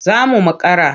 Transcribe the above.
Za mu makara.